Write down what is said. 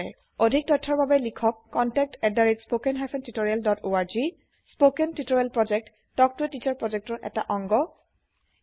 অধিক তথ্যৰ বাবে লিখক contactspoken tutorialorg স্পৌকেন টিওটৰিয়েল প্ৰকল্প তাল্ক ত a টিচাৰ প্ৰকল্পৰ এটা অংগ